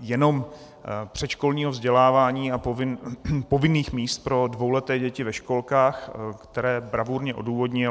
jenom předškolního vzdělávání a povinných míst pro dvouleté děti ve školkách, které bravurně odůvodnil.